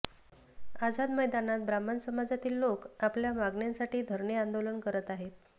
आझाद मैदानात ब्राह्मण समाजातील लोक आपल्या मागणांसाठी धरणे आंदोलन करत आहेत